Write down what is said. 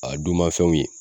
A dunmafɛnw ye